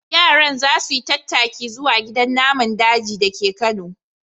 Yaran za su yi tattaki zuwa gidan naman daji da ke Kano.